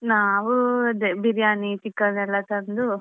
ನಾವು ಅದೇ Biriyani chicken ಎಲ್ಲಾ ತಂದು.